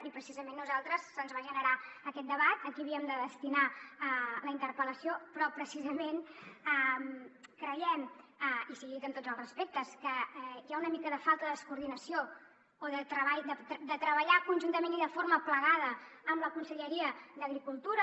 i precisament a nosaltres se’ns va generar aquest debat a qui havíem de destinar la interpel·lació però precisament creiem i sigui dit amb tots els respectes que hi ha una mica de falta de coordinació o de treballar conjuntament i de forma plegada amb la conselleria d’agricultura